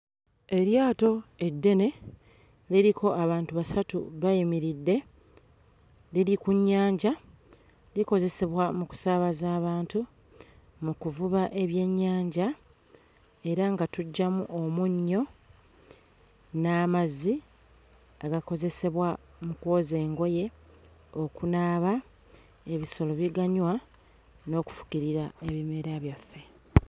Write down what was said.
Eryato eddene liriko abantu basatu bayimiridde, liri ku nnyanja likozesebwa mu kusaabaza abantu, mu kuvuba ebyennyanja era nga tuggyamu omunnyo n'amazzi agakozesebwa mu kwoza engoye okunaaba, ebisolo biganywa n'okufukirira ebimera byaffe.